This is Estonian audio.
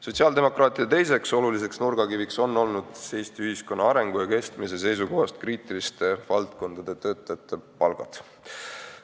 Sotsiaaldemokraatide poliitika teine oluline nurgakivi on olnud Eesti ühiskonna arengu ja kestmise seisukohast kriitiliste valdkondade töötajate palgad.